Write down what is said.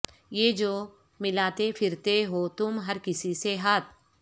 یہ جو ملاتے پھرتے ہو تم ہر کسی سے ہاتھ